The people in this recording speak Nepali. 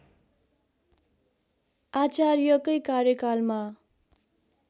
आचार्यकै कार्यकालमा